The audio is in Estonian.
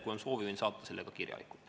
Kui on soovi, võin saata selle ka kirjalikult.